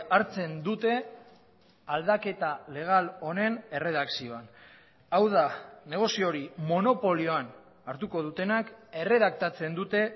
hartzen dute aldaketa legal honen erredakzioan hau da negozio hori monopolioan hartuko dutenak erredaktatzen dute